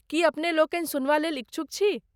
की अपने लोकनि सुनबा लेल इच्छुक छी?